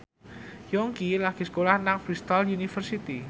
Yongki lagi sekolah nang Bristol university